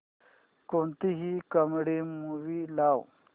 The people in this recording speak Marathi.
कोणतीही कॉमेडी मूवी लाव